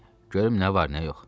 Görüm nə var, nə yox.